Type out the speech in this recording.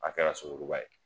A kɛra suŋuruba ye.